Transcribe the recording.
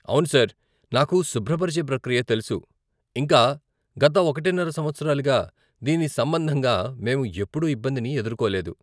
అవును సార్, నాకు శుభ్రపరిచే ప్రక్రియ తెలుసు, ఇంకా గత ఒకటిన్నర సంవత్సరాలుగా దీని సంబంధంగా మేము ఎప్పుడూ ఇబ్బందిని ఎదుర్కోలేదు.